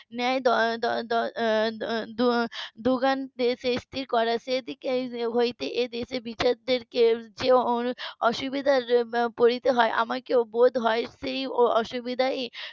ন্যায় দ~ দুগান্তে শেষ টি করা সেই দিক হতে এই দেশের বিচার কে যে অসুবিধাই পড়তে হয় আমাকেও বোধ হয় সেই অসুবিধাই